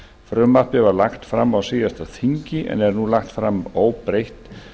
frumvarpið var lagt fram á síðasta þingi en er nú lagt fram breytt